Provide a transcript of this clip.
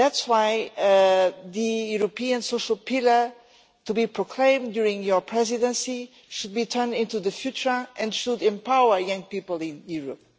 That is why the European social pillar, to be proclaimed during your presidency, should be geared to the future and should empower young people in Europe.